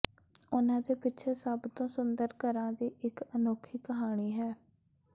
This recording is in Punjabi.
ਉਨ੍ਹਾਂ ਦੇ ਪਿੱਛੇ ਸਭ ਤੋਂ ਸੁੰਦਰ ਘਰਾਂ ਦੀ ਇਕ ਅਨੋਖੀ ਕਹਾਣੀ ਹੈ